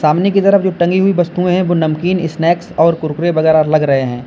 सामने की तरफ जो टंगी हुई वस्तुएं हैं वो नमकीन स्नैक्स और कुरकुरे वगैरा लग रहे हैं।